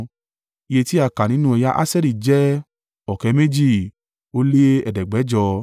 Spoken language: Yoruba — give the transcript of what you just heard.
Iye tí a kà nínú ẹ̀yà Aṣeri jẹ́ ọ̀kẹ́ méjì ó lé ẹ̀ẹ́dẹ́gbẹ̀jọ (41,500).